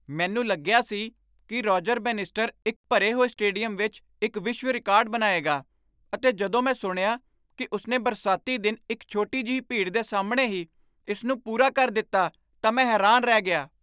ਮੈਨੂੰ ਲੱਗਿਆ ਸੀ ਕਿ ਰੋਜਰ ਬੈਨਿਸਟਰ ਇੱਕ ਭਰੇ ਹੋਏ ਸਟੇਡੀਅਮ ਵਿੱਚ ਇੱਕ ਵਿਸ਼ਵ ਰਿਕਾਰਡ ਬਣਾਏਗਾ ਅਤੇ ਜਦੋਂ ਮੈਂ ਸੁਣਿਆ ਕਿ ਉਸਨੇ ਬਰਸਾਤੀ ਦਿਨ ਇੱਕ ਛੋਟੀ ਜਿਹੀ ਭੀੜ ਦੇ ਸਾਹਮਣੇ ਹੀ ਇਸ ਨੂੰ ਪੂਰਾ ਕਰ ਦਿੱਤਾ ਤਾਂ ਮੈਂ ਹੈਰਾਨ ਰਹਿ ਗਿਆ।